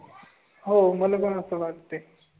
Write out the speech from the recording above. हो, मला वाटते.